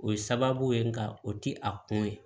O ye sababu ye nka o ti a kun ye